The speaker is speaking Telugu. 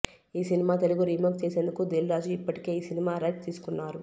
ఈ సినిమా తెలుగు రీమేక్ చేసేందుకు దిల్ రాజు ఇప్పటికే ఈ సినిమా రైట్స్ తీసుకున్నారు